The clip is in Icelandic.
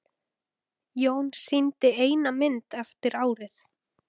Jón sýndi eina mynd eftir árið.